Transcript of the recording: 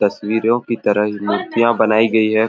तस्वीरों की तरह ही मुर्तियां बनाई गई है।